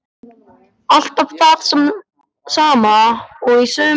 Alltaf það sama og í sömu röð.